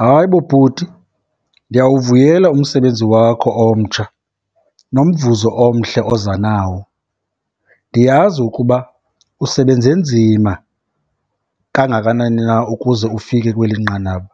Hayi bo bhuti, ndiyawuvuyela umsebenzi wakho omtsha nomvuzo omhle oza nawo. Ndiyazi ukuba usebenze nzima kangakanani na ukuze ufike kweli nqanaba.